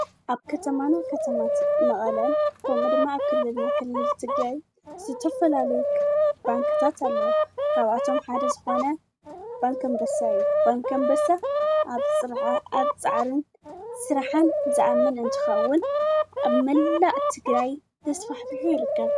ኣብ ከተማና ከተማታት መቐለን ከምኡድማ ኣክልና ኽል ዝትግይ ዝተፈላለየ ባንከታት ኣሎ ካብኣቶም ሓደ ዝኾነ ባንኪ ኣምበሳ ዩ ባንከምበሳ ኣብ ፅርዓ ኣብ ፀዓርን ሥራኃን ዝኣምን እንትኸውን ኣብ መላእ እትግራይ ተስፋሕፊሑ ይርከብ።